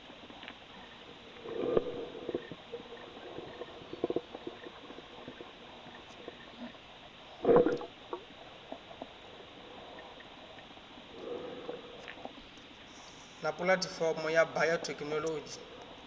na pu athifomo ya bayothekhino